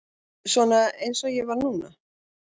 Svona eins og ég var núna.